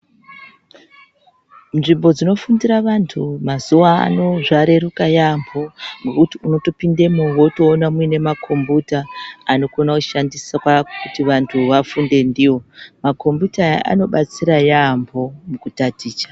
Nzvimbo dzinofundira vantu mazuva ano zvareruka yaamho ngokuti unotopindemwo votoona muine makombuta anokona kushandiswa kuti vantu vafunde ndivo. Makombiyuta aya anobatsira yaambo mukutaticha.